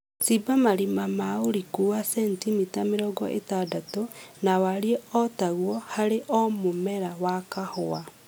Shimba marima ma ũriku wa sentimita mĩrongo ĩtandatũ na warie o taguo harĩ o mũmera wa kahũa